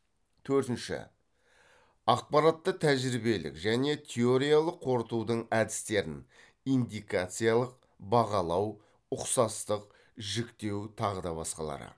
төртінші ақпаратты тәжірибелік және теориялық қорытудың әдістерін